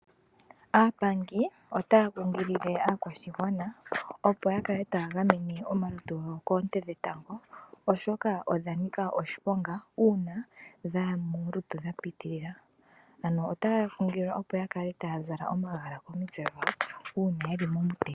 Aapangi otaya kunkilile aakwashigwana opo yakale taya gamene omalutu gawo koonte dhetango oshoka odhanika oshiponga uuna dhaya molutu dha pitilila ,ano otaya kunkililwa opo yakale taya zala omagala komitse dhawo uuna yeli momutenya.